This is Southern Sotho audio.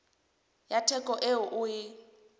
ya theko eo o e